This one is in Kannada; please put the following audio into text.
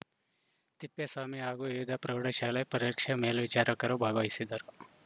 ತಿಪ್ಪೇಸ್ವಾಮಿ ಹಾಗೂ ವಿವಿಧ ಪ್ರೌಢಶಾಲೆ ಪರೀಕ್ಷೆ ಮೇಲ್ವಿಚಾರಕರು ಭಾಗವಹಿಸಿದ್ದರು